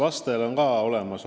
Aitäh teile!